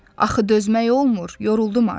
Axı dözmək olmur, yoruldum artıq.